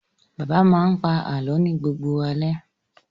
Bàbá máa ń pa àlọ́ ni gbogbo alẹ́.